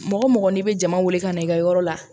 Mɔgɔ mɔgɔ n'i bɛ jama wuli ka na i ka yɔrɔ la